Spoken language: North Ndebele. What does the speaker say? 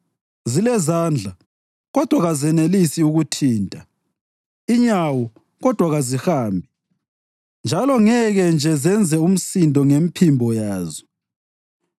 zilezandla, kodwa kazenelisi ukuthinta, inyawo, kodwa kazihambi; njalo ngeke nje zenze umsindo ngemphimbo yazo.